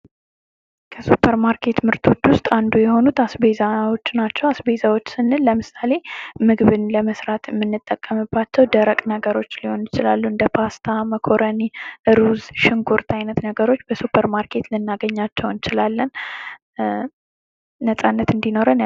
ከስፐርማርኬት ምርቶች ውስጥ አንዱ የሆኑት አስቤዛዎች ናቸው። አስቤዛዎች ስንል ለምሳሌ፦ ምግብን ለመስራት የምንጠቀምባቸው ደረቅ ነገሮች ሊሆን ይችላሉ። እንደ ፓስታ፣ እንደመኮረኒ። ሩዝ፣ ሽንኩርት አይነት ነገሮች ልናገኛቸው እንችላለን ነጻነት እንዲኖረን ያ..።